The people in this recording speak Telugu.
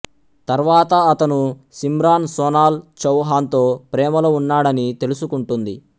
తర్వాత అతను సిమ్రాన్ సోనాల్ చౌహాన్ తో ప్రేమలో ఉన్నాడని తెలుసుకుంటుంది